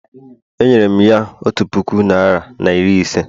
Enyere m ya otu puku naịra na iri ise